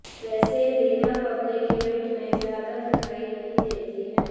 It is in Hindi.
वैसे रीना पब्लिक इवेंट में ज्यादा दिखाई नहीं देती है